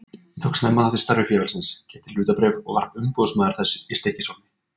Ég tók snemma þátt í starfi félagsins, keypti hlutabréf og varð umboðsmaður þess í Stykkishólmi.